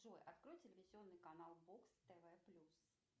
джой открой телевизионный канал бокс тв плюс